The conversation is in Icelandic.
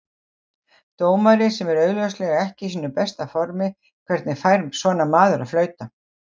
Dómari sem er augljóslega ekki í sínu besta formi, hvernig fær svona maður að flauta?